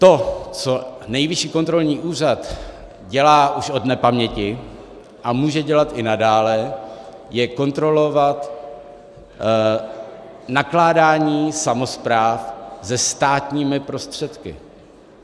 To, co Nejvyšší kontrolní úřad dělá už od nepaměti a může dělat i nadále, je kontrolovat nakládání samospráv se státními prostředky.